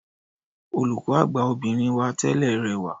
Olùkọ́ àgbà obìnrin wa tẹ́lẹ̀ rẹwà.